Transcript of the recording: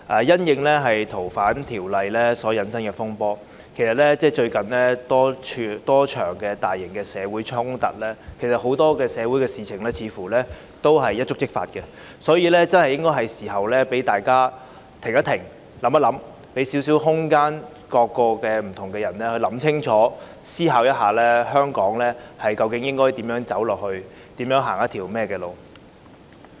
鑒於《逃犯條例》所引申的風波和近日多場大型社會衝突，社會上很多事也似乎會一觸即發，所以是時候讓大家"停一停，想一想"，給予不同人士空間想清楚，思考香港未來應如何走下去。